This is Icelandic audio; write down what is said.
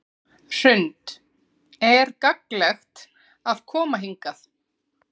Hrund: Er gagnlegt að koma hingað?